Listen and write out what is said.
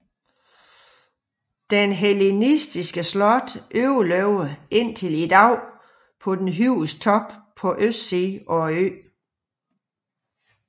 Det hellenistiske slot overlevede indtil i dag på den højeste top på østsiden af øen